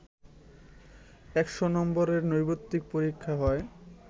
১০০নম্বরের নৈর্ব্যক্তিক পরীক্ষায় হয়